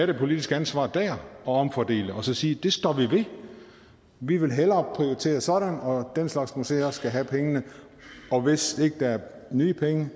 det politiske ansvar dér og omfordele og så sige det står vi ved vi vil hellere prioritere sådan og den slags museer skal have pengene og hvis ikke er nye penge